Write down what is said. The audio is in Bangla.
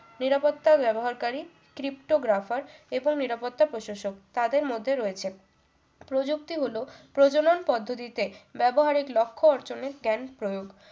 নিরাপত্তা ব্যবহারকারী cripto graffer এবং নিরাপত্তা প্রশাসক তাদের মধ্যে রয়েছেন প্রযুক্তি হল প্রজনন পদ্ধতি তে ব্যাবহার এর লক্ষ্য অর্জনে scan প্রয়োগ